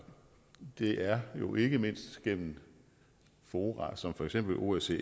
det er jo ikke mindst gennem fora som for eksempel osce